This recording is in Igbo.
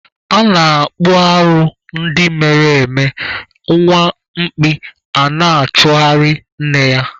A na-akpụ arụ ndị mere eme, nwa mkpi a na-achụgharị nne ya.